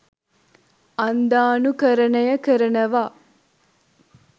අන්ධානුකරණය කරනවා